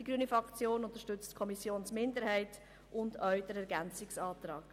Die grüne Fraktion unterstützt die Kommissionsminderheit und auch den Ergänzungsantrag.